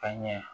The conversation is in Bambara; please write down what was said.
Ka ɲɛ